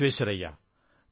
Visvesvaraya